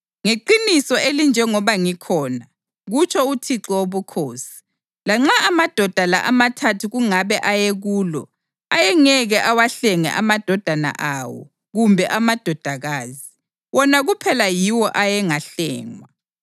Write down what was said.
ngeqiniso elinjengoba ngikhona, kutsho uThixo Wobukhosi, lanxa amadoda la amathathu kungabe ayekulo, ayengeke awahlenge amadodana awo kumbe amadodakazi. Wona kuphela yiwo ayengahlengwa.